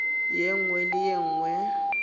ye nngwe le ye nngwe